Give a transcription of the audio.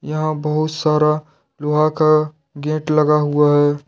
यहां बहुत सारा लोहा का गेट लगा हुआ है।